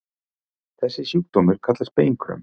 Þessi sjúkdómur kallast beinkröm.